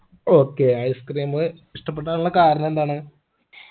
okay ice cream ഇഷ്ടപ്പെട്ടാനുള്ള കാരാണെന്താണ്